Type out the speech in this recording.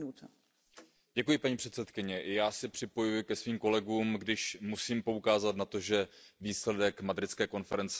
Paní předsedající, já se připojuji ke svým kolegům, když musím poukázat na to, že výsledek madridské konference nebyl úspěch.